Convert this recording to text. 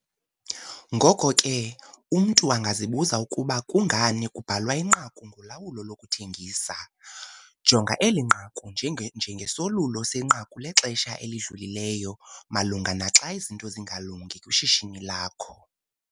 Ngoko ke, umntu angazibuza ukuba kungani kubhalwa inqaku ngolawulo lokuthengisa. Jonga eli nqaku njengesolulo senqaku lexesha elidlulileyo malunga naxa izinto zingalungi kwishishini lakho.